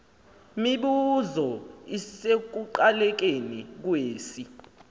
mibuzo isekuqalekeni kwesi